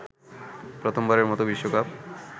প্রথমবারের মতো বিশ্বকাপ